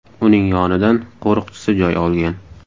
Uning yonidan qo‘riqchisi joy olgan.